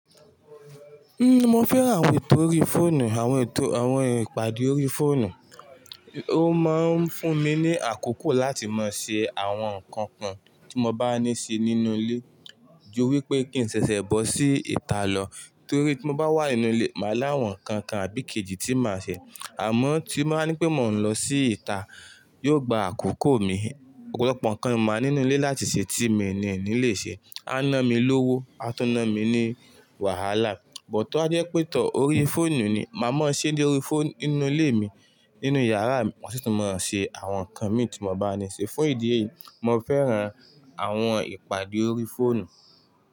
Ṣe mọ fẹ́ran àwọn ètò orí fóònù, àwọn ètò, àwọn ìpàdé orí fóònù. Ó máa ń fún mi ní àkókò láti máa ṣe àwọn nǹkan kan tí mo bá ní ṣe nínú ilé ju wípé kí n ṣẹ̀ṣẹ̀ bọ́ sí ìta lọ. Torí tí mo bá wà nínú ilé, màá láwọn nǹkan kan àbí kejì tí màá ṣe. Àmọ́ tín bá ní pé mò ń lọ sí ìta, yóò gba àkókò mi. Ọ̀pọ̀lọpọ̀ ǹkan ni màá nínú ilé láti ṣe tí mi ni ò ní lè ṣe, a ná mi lówó, a tún ná mi ní wàhálà. Bút tó bá jẹ́ pé tó, orí fóònù ni, màá mọ̀ ṣe dé orí fóònù nínú ilé mi, nínú yàrá mi, mọ sì tún máa ń ṣe àwọn nǹkan mi tí mo bá ní ṣe. Fún ìdí èyí, mo fẹ́ran àwọn ìpàdé orí fóònù.